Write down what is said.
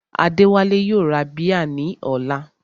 Adéwálé yóò ra bíẹ̀ ní ọ̀la